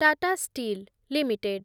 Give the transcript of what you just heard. Tata steel limited